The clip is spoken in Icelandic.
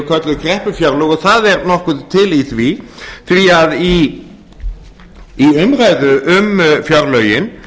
kölluð kreppufjárlög og það er nokkuð til í því því að í fyrri umræðu um